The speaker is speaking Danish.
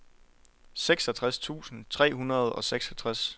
seksogtres tusind tre hundrede og seksogtres